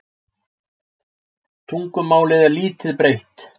Tungumálið er lítt breytt.